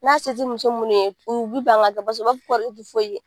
N'a se tɛ muso minnu ye u bɛ ban k'a kɛ u b'a fɔ ko ale tɛ foyi ye